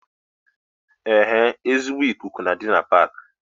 Ee ezigbo ikuku na-adi na Paaki